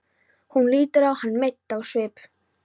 Hún lítur á hann mædd á svip.